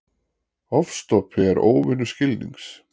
Ofstopi er óvinur skilnings.